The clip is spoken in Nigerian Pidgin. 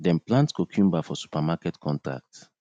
dem plant cucumber for supermarket contract